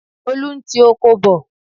Olú ń tí oko bọ̀.